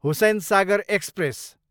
Hussain Sagar express